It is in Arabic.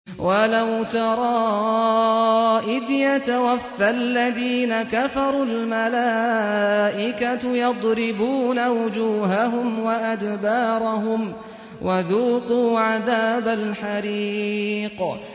وَلَوْ تَرَىٰ إِذْ يَتَوَفَّى الَّذِينَ كَفَرُوا ۙ الْمَلَائِكَةُ يَضْرِبُونَ وُجُوهَهُمْ وَأَدْبَارَهُمْ وَذُوقُوا عَذَابَ الْحَرِيقِ